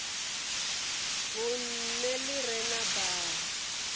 vhunṋe ḽi re na baa